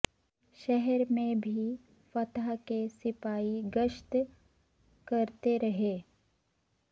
شہر میں بھی فتح کے سپاہی گشت کرتے رہے